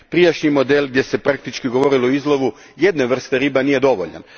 Prijašnji model gdje se praktički govorilo o izlovu jedne vrste riba nije dovoljan.